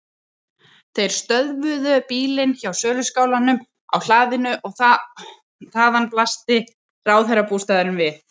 Þeir stöðvuðu bílinn hjá söluskálanum á hlaðinu og þaðan blasti ráðherrabústaðurinn við.